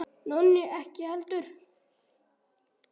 Nonni ekki heldur.